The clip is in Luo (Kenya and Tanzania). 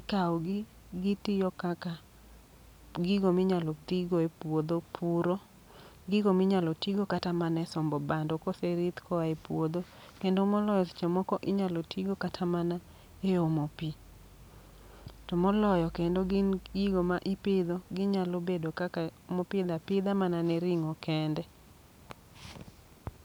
ikawogi gitiyo kaka gigo minyalo tigo e puodho, puro. Gigo minyalo tigo kata mane sombo bando kose ridh koa e puodho. Kendo moloyo seche moko inyalo tigo kata mana e omo pi. To moloyo kendo gin gigo ma ipidho, ginyalo bedo kaka mopidh apidha ne ring'o kende.